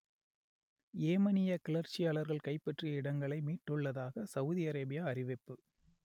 யேமனிய கிளர்ச்சியாளர்கள் கைப்பற்றிய இடங்களை மீட்டுள்ளதாக சவுதி அரேபியா அறிவிப்பு